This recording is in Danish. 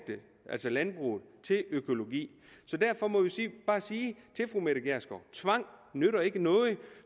landbruget til økologi derfor må vi bare sige til fru mette gjerskov tvang nytter ikke noget